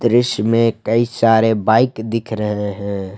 दृश्य में कई सारे बाइक दिख रहे हैं।